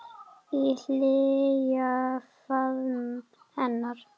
Í hlýjan faðm hennar.